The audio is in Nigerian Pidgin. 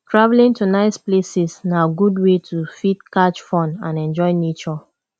travelling to nice places na good way to fit catch fun and enjoy nature